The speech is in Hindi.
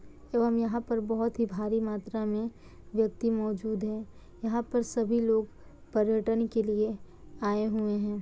ऐवम यहाँ पर बहुत ही भारी मात्रा मे व्यक्ति मोजूद है। यहाँ पर सभी लोग पर्यटन के लिए आए हुऐ है।